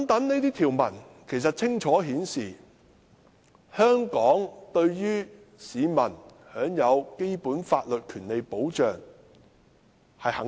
這些條文清楚顯示，香港對於市民享有基本法律權利保障是肯定的。